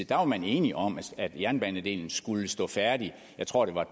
var man enige om at jernbanedelen skulle stå færdig jeg tror det var et